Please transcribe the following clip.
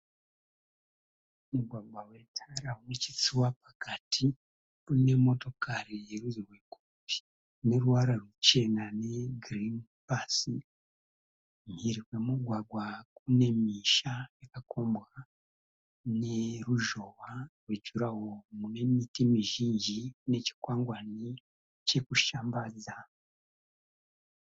Mugwagwa wetara unechitsuwa pakati. Mune motokari yerudzi rwekombi ineruvara ruchena negirini pasi. Mhiri kwemugwagwa kunemisha yakakombwa neruzhowa rwejuraho munemiti mizhinji nechikwangwani chekushambadza.